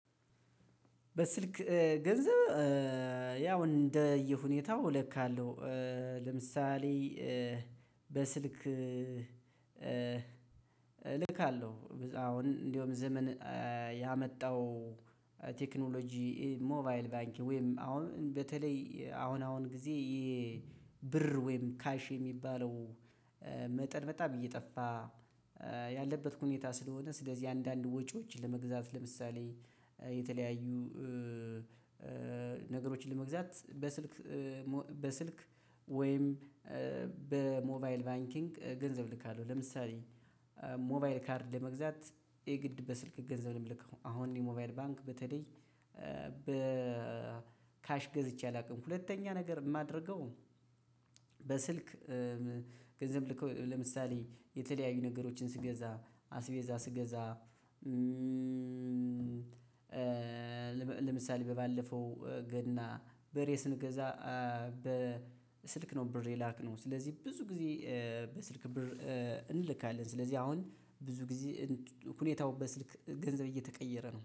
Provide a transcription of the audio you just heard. በስልክ ገንዘብ ያው እንደየሁኔታው ልካለሁ። ለምሳሌ በስልክ እልካለሁ አሁን እንደውም ዘመን ያመጣው ቴክኖሎጂ ሞባይል ባንኪንግ ወይም አሁን በተለይ አሁን አሁን ጊዜ ይሄ። ብር ወይም ካሽ የሚባለው መጠን በጣም እየጠፋ ያለበት ሁኔታ። ስለሆነ ስለዚህ አንዳንድ ወጪዎች ለመግዛት ለምሳሌ የተለያዩ ነገሮችን ለመግዛት በስልክ በስልክ ወይም በሞባይል ባንኪንግ ገንዘብ ልካለው። ለምሳሌ ሞባይል ካርድ ለመግዛት የግድ በስልክ ገንዘብ የምልከው አሁን የሞባይል ባንክ በተለይ በካሽ ገዝቼ አላውቅም። ሁለተኛ ነገር የማደርገው በስልክ ገንዘብ ልከው ለምሳሌ የተለያዩ ነገሮችን ስገዛ አስቤዛ ስገዛ። ለምሳሌ ባለፈው ገና በሬ ስንገዛ በስልክ ነው ብር የላክነው። ስለዚህ ብዙ ጊዜ በ ስልክ ብር እንልካለን። ስለዚህ አሁን ብዙ ጊዜ ሁኔታው በስልክ ገንዘብ እየተቀየረ ነው